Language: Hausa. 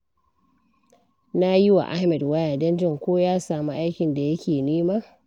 Na yi wa Ahmad waya don jin ko ya samu aikin da yake nema.